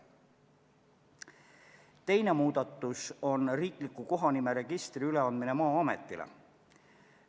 Teine muudatus on riikliku kohanimeregistri üleandmine Maa-ametile.